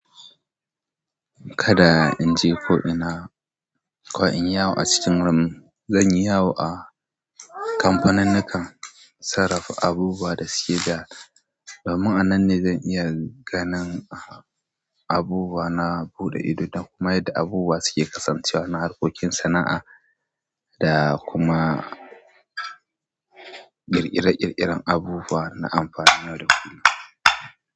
Kada in je ko ina, ko inyi yawo a cikin ram, zan yi yawo a kamfanin nakan sarrafa abubuwa da suke da, da domin anan ne zan iya ganin a abubuwa na buɗe ido da kuma yadda abubuwa suke kasancewa na harkokin sana'a, da kuma ƙirƙire-ƙirƙire abubuwa na amfanin yau da kullum.